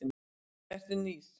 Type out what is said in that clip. Eru nýr?